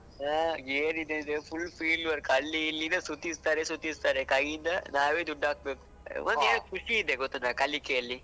ಹಾ , ಏನ್ ಇದೆ ಹೇಳಿದ್ರೆ full fieldwork ಅಲ್ಲಿ ಇಲ್ಲಿ ಇದೇ ಸುತ್ತಿಸ್ತಾರೆ ಸುತ್ತಿಸ್ತಾರೆ ಕೈಯಿಂದ ನಾವೇ ದುಡ್ಡು ಹಾಕ್ಬೇಕು. ಖುಷಿ ಇದೆ ಗೊತ್ತುಂಟ ಕಲಿಕೆಯಲ್ಲಿ.